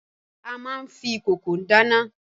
A máa n fi ìkòkò dáná.